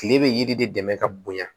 Kile bɛ yiri de dɛmɛ ka bonya